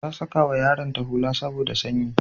Ta sakawa yaronta hula saboda sanyi.